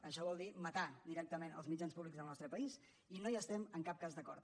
això vol dir matar directament els mitjans públics del nostre país i no hi estem en cap cas d’acord